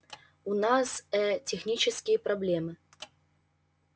у нас э технические проблемы